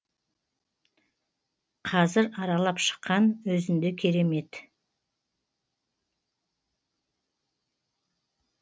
қазір аралап шыққан өзінде керемет